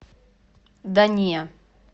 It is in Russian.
да не